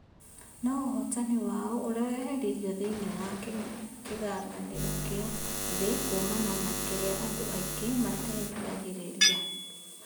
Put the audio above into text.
No ũhotani wao ũreheririo thĩinĩ wa kĩng'ang'anĩro kĩa thĩĩ kuumana na kĩrĩa andũ aingĩ mateeriragĩria.